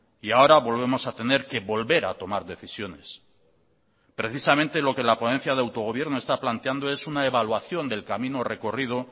y ahora volvemos a tener que volver a tomar decisiones precisamente lo que la ponencia de autogobierno está planteando es una evaluación del camino recorrido